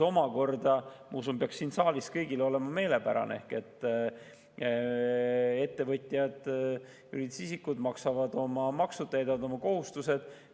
Ma usun, et see peaks siin saalis kõigile meelepärane olema, et ettevõtjad, juriidilised isikud maksavad oma maksud, täidavad oma kohustused.